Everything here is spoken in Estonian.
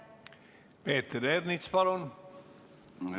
Peeter Ernits, palun!